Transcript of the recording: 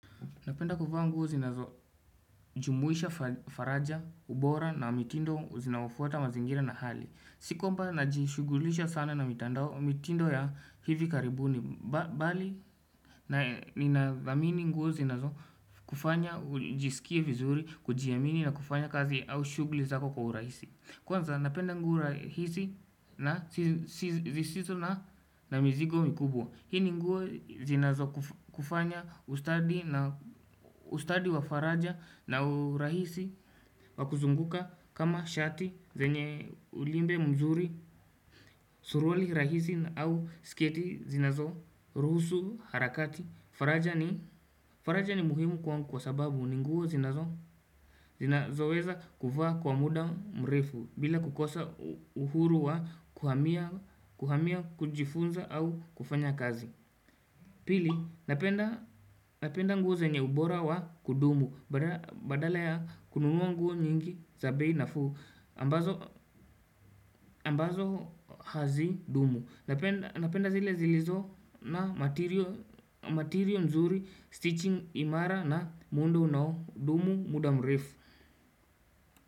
Napenda kuvaa nguo zinazojumuisha faraja, ubora na mitindo zinaofuata mazingira na hali. Si kwamba najishugulisha sana na mitandao mitindo ya hivi karibuni. Bali ninatamini nguo zinazokufanya ujisikie vizuri, kujiamini na kufanya kazi au shughuli zako kwa uraisi. Kwanza, napenda nguo rahisi na sisizo na mizigo mikubwa. Hii ninguo zinazo kufanya ustadi ustadi wa faraja na urahisi wa kuzunguka kama shati zenye ulimbe mzuri, suruali rahisi au sketi zinazoruhusu harakati. Faraja ni faraja ni muhimu kwangu kwa sababu ni nguo zinazoweza kuvaa kwa muda mrefu. Bila kukosa uhuru wa kuhamia kujifunza au kufanya kazi. Pili, napenda nguo zenye ubora wa kudumu, badala ya kununua nguo nyingi za bei nafuu, ambazo hazidumu. Napenda zile zilizo na matiryo nzuri, stichi imara na muundo unaodumu muda mrefu.